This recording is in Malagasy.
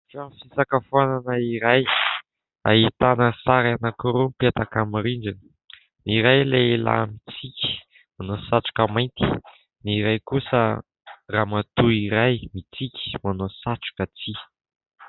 Trano fisakafoanana iray ahitana sary anankiroa mipetaka amin'ny rindrina . Ny iray lehilahy mitsiky manao satroka mainty, ny iray kosa ramatoa iray mitsiky manao satroka tsihy.